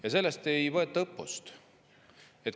Ja sellest ei võeta õppust.